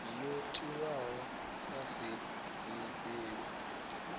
yo tiwaho i sa lifhelwi